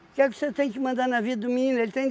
O que é que você tem que mandar na vida do menino? Ele tem